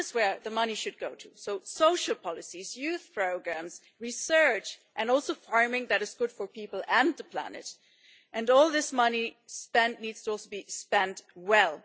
That is where the money should go to social policies, youth programmes, research, and also farming that is good for people and the planet. And all this money needs to be spent well.